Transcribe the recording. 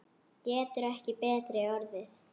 Getur ekki betri orðið.